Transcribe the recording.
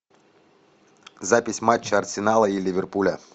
запись матча арсенала и ливерпуля